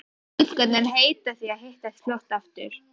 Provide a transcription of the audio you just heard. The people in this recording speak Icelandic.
Og litlu stúlkurnar heita því að hittast fljótt aftur.